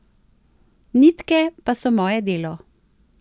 Nitke pa so moje delo.